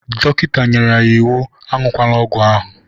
Dọkịta nyere ya iwu, aṅụkwana ọgwụ ahụ!